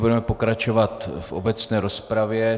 Budeme pokračovat v obecné rozpravě.